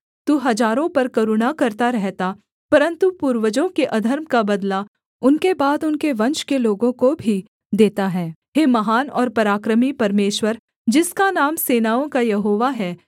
तू हजारों पर करुणा करता रहता परन्तु पूर्वजों के अधर्म का बदला उनके बाद उनके वंश के लोगों को भी देता है हे महान और पराक्रमी परमेश्वर जिसका नाम सेनाओं का यहोवा है